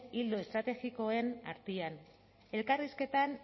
ildo estrategikoen artean elkarrizketan